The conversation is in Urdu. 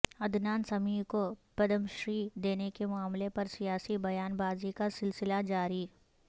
عدنان سمیع کو پدم شری دینے کے معاملہ پر سیاسی بیان بازی کا سلسلہ جاری